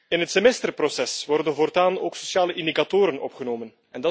In het semester proces worden voortaan ook sociale indicatoren opgenomen.